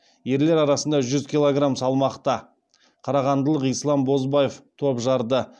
ерлер арасында жүз килограмм салмақта қарағандылық ислам бозбаев топ жарды